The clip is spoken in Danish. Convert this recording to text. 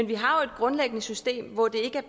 vi har jo grundlæggende et system hvor det